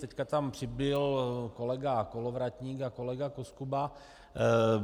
Teď tam přibyl kolega Kolovratník a kolega Koskuba.